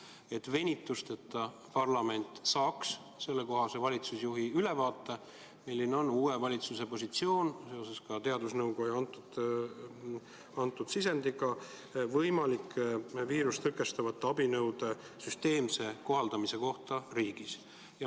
Oleks vajalik, et parlament saaks venituseta, kohe valitsusjuhi ülevaate, milline on uue valitsuse positsioon seoses teadusnõukoja antud sisendiga võimalike viirust tõkestavate abinõude süsteemse kohaldamise kohta riigis.